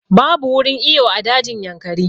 Babu wurin iyo a dajin Yankari